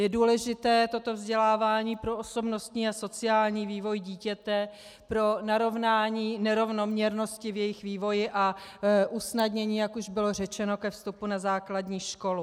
Je důležité toto vzdělávání pro osobnostní a sociální vývoj dítěte, pro narovnání nerovnoměrnosti v jejich vývoji a usnadnění, jak už bylo řečeno, ke vstupu na základní školu.